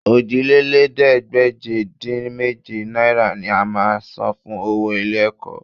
Òjìlélẹ́ẹ̀ẹ́dégbèje-dín-méje náírà ni a máa san fún owó ilé-ẹ̀kọ́